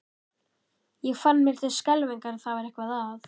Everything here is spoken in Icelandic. Ég fann mér til skelfingar að það var eitthvað að.